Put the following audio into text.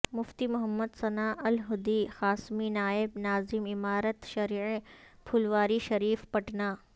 مفتی محمد ثناء الہدی قاسمی نائب ناظم امارت شرعیہ پھلواری شریف پٹنہ